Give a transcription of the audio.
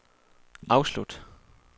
afslut